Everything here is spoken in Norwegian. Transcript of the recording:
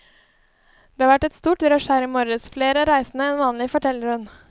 Det har vært et stort rush her i morges, flere reisende enn vanlig, forteller hun.